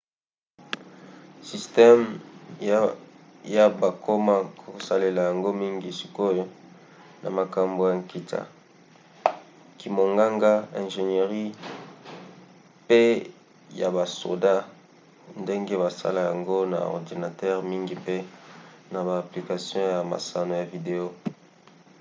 systeme ia bakoma kosalela yango mingi sikoyo na makambo ya nkita kimonganga ingénierie pe ya basoda ndenge basala yango na ordinatere mingi pe na ba application ya masano ya video